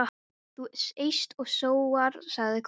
Þú eyst og sóar, sagði konan.